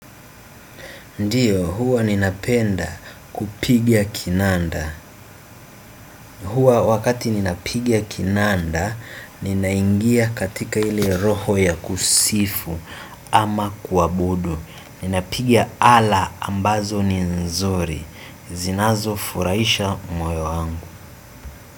Ndiyo, huwa ninapenda kupiga kinanda. Huwa wakati ninapigia kinanda, ninaingia katika ile roho ya kusifu ama kuabudu. Ninapiga ala ambazo ni nzuri. Zinazofurahisha moyo wangu.